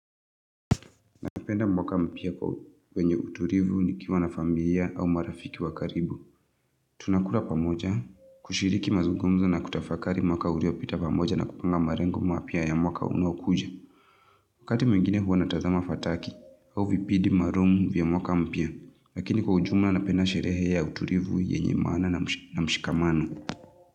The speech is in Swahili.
Napenda mwaka mpia kwenye utulivu nikiwa na familia au marafiki wakaribu. Tuna kula pamoja, kushiriki mazungumuzo na kutafakari mwaka uliopita pamoja na kupanga malengo mpya ya mwaka unaokuja. Wakati mwingine huwa natazama fataki au vipindi maalum vya mwaka mpya, lakini kwa ujumla napenda sherehe ya utulivu yenye maana na mshikamano.